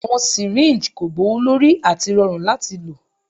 Awọn syringes ko gbowolori ati rọrun lati lo